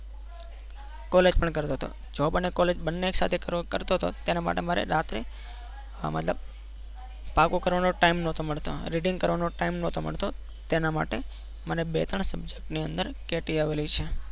college પણ કરતો હતો job અને college બંને સાથે કરતો હતો તેના માટે મારે રાત્રે આ મતલબ પાકું કરવાનો time નતો મળતો reading કરવાનો ટાઈમ નતો મળતો તેના માટે મને બે ત્રણ subject ની અંદર કેટી આવેલી છે.